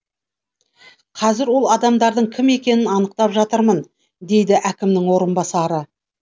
қазір ол адамдардың кім екенін анықтап жатырмын дейді әкімнің орынбасары